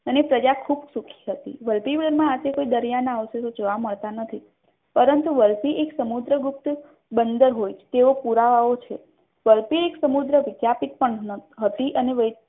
અને પ્રજા ખૂબ સુખી હતી મંત્રકાળમાં દરિયાના અવશેષો જોવા મળતા નથી પરંતુ વલભી એક સમુદ્રગુપ્ત બંદર હોય તેવા પુરાવો છે વલભી એક સમુદ્ર વિદ્યાપીઠ પણ હતી અને